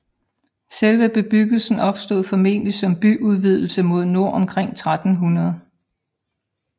Selve bebyggelsen opstod formodentlig som byudvidelse mod nord omkring 1300